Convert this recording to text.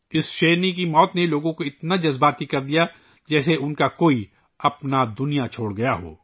اس شیرنی کی موت نے لوگوں کو اس قدر جذباتی کر دیا کہ جیسے کوئی اپنا ہی دنیا سے چلا گیا ہو